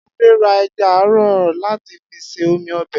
Adé ra e̩ja àrò̩ láti fi se omi o̩bè̩